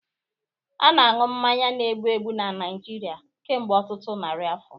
A na-aṅụ mmanya na-egbu egbu na Naijiria kemgbe ọtụtụ narị afọ